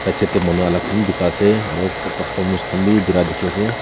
side teh manu alak khan bi bikai ase aru customers khan bi birai dikhi ase.